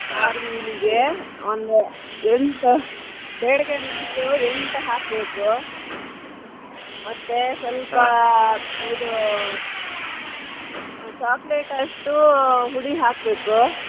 ಒಂದ್ ಎಂಟು byadige ಮೆಣಸು ಎಂಟು ಹಾಕ್ಬೇಕು ಮತ್ತೆ ಇದು ಆ chocolate ಅಷ್ಟು ಹುಳಿ ಹಾಕ್ಬೇಕು.